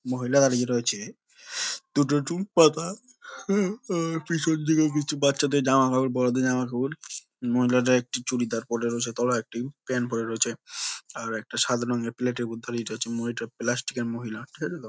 মহিলা আর ই রয়েছে দুটো টুল পাতা হা আ পিছন দিকে কিছু বাচ্চা দের জামা কাপড় বড়ো দের জামা কাপড় মহিলাদের একটি চুড়িদার পরে রয়েছে তলায় একটি প্যান্ট পরে রয়েছে আর একটা সাদা রঙ্গের প্লেটের -- প্লাস্টিক এর মহিলা। ঠিক আছে তো ?